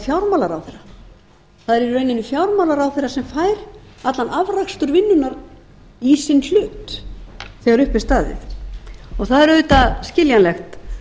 fjármálaráðherra það er í rauninni fjármálaráðherra sem fær allan afrakstur vinnunnar í sinn hlut þegar upp er staðið það er auðvitað skiljanlegt